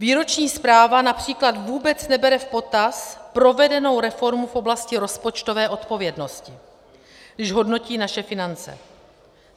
Výroční zpráva například vůbec nebere v potaz provedenou reformu v oblasti rozpočtové odpovědnosti, když hodnotí naše finance.